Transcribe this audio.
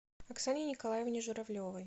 оксане николаевне журавлевой